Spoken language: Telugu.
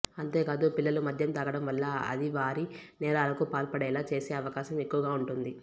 అంతేకాదు పిల్లలు మద్యం తాగడం వల్ల అది వారి నేరాలకు పాల్పడేలా చేసే అవకాశం ఎక్కువగా ఉంటుంది